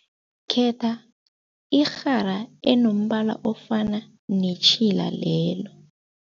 Khetha irhara enombala ofana netjhila lelo.